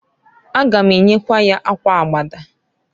A ga m enyekwa ya akwa Abada.